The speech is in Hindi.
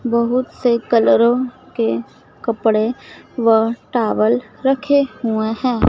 बहुत से कलरो के कपड़े व टॉवल रखे हुए है।